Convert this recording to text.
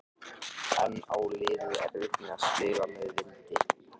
En á liðið erfitt með að spila með vindi?